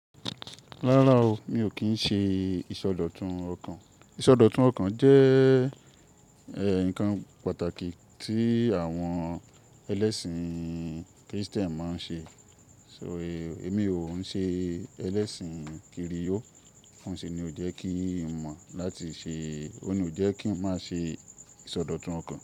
Rárá o, mi ò kí ń ṣe ìsọdọ̀tun ọkàn. Ìsọdọ̀tun ọkàn jẹ́ ẹ̀ nǹkan pàtàkì tí àwọn ẹlẹ́sìn Kristẹni máa ń ṣe. So, èmi ò ń ṣe ẹlẹ́sìn kiri o. Oún ṣi ni ó jẹ́ kí ń mọ̀ láti ṣe, ó ní ó jẹ́ kí n má ṣe ìsọdọ̀tun ọkàn.